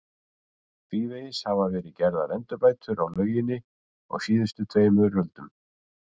Tvívegis hafa verið gerðar endurbætur á lauginni á síðustu tveimur öldum.